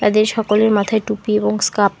সকলের মাথায় টুপি এবং স্কাপ ।